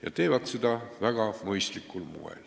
Nad teevad seda väga mõistlikul moel.